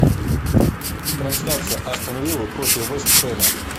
трансляция астон виллы против вест хэма